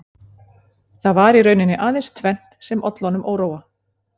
Það var í rauninni aðeins tvennt sem olli honum óróa